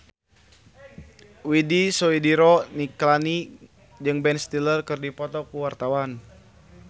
Widy Soediro Nichlany jeung Ben Stiller keur dipoto ku wartawan